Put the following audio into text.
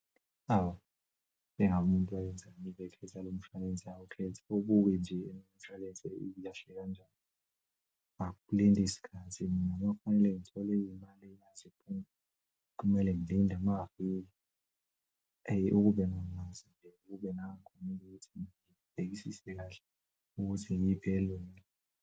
Awu, ingabe umuntu wayenzani ngalomshwalense awukhetha. Awubuke nje nomshwalense ilahle kanjani. Akulinde isikhathi, kumele ngithole imali iphume kumele ngilinde mangafika eyi. Ukube nangezinto kube ngangikhumbula ukuthi ngibhekisise kahle ukuthi iyiphi encono.